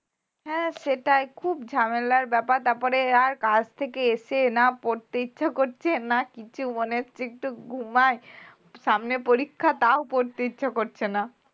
হ্যাঁ সেটাই খুব ঝামেলার ব্যাপার তারপরে আর কাজ থেকে এসে না পড়তে ইচ্ছে করছে না কিছু মনে হচ্ছে একটু ঘুমায় সামনে পরীক্ষা তাও পড়তে ইচ্ছে করছে না